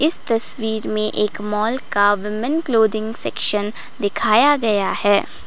इस तस्वीर में एक मॉल का वूमेन क्लोथिंग सेक्शन दिखाया गया है।